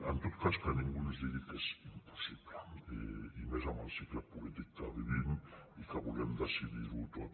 en tot cas que ningú no ens digui que és impossible i més amb el cicle polític que vivim i que volem decidir ho tot